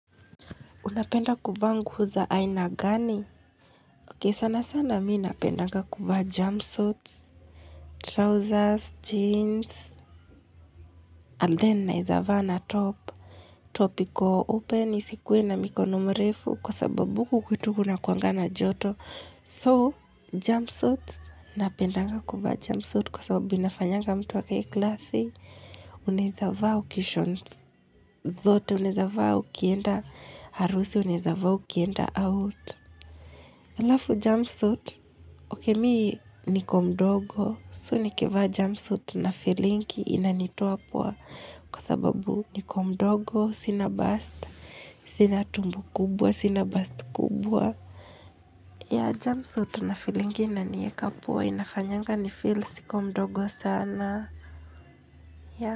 Unapenda kuvaa nguo za aina gani? Ok sana sana mii napendanga kuvaa jumpsuits, trousers, jeans, and then naeza na top. Top iko open, isikuwe na mikono mrefu kwa sababu huku tu unakuanga na joto. So, jumpsuits, napenda kuvaa jumpsuits kwa sababu inafanyanga mtu akae klasi, unaeza vaa ukishons. Zote uneza vaa ukienda harusi uneza vaa ukienda out Alafu jumpsuit, ok me niko mdogo, so nikivaa jumpsuit nafilingi inanitoa poa kwa sababu niko mdogo, sina bust, sina tumbo kubwa, sina bust kubwa ya jumpsuit na filingi inanieka poa, inafanyanga nifeel siko mdogo sana.